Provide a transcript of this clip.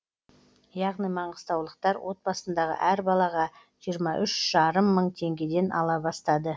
яғни маңғыстаулықтар отбасындағы әр балаға жиырма үш жарым мың теңгеден ала бастады